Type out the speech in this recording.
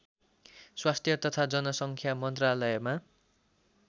स्वास्थ्य तथा जनसङ्ख्या मन्त्रालयमा